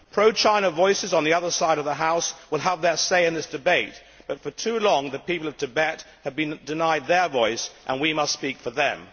Pro China voices on the other side of the House will have their say in this debate, but for too long the people of Tibet have been denied their voice, and we must speak for them.